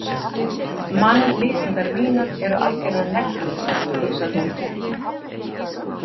Mannlýsingar mínar eru algjörar neglur, hugsar hún.